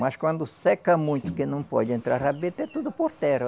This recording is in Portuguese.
Mas quando seca muito, porque não pode entrar rabeta, é tudo por terra.